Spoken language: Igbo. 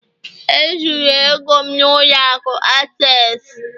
E zuru ego m n'ụlọ akụ Access